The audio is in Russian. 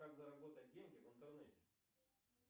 как заработать деньги в интернете